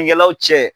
kɛlaw cɛ